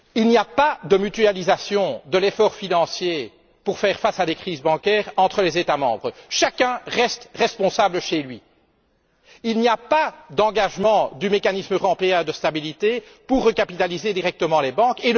Il n'y a pas de mutualisation de l'effort financier pour faire face à des crises bancaires entre les États membres. Chacun reste responsable chez soi. Il n'y a pas d'engagement du mécanisme européen de stabilité pour recapitaliser directement les banques.